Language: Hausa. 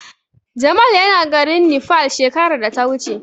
Jamal yana garin Nepal shekarar da ta wuce.